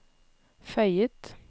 føyet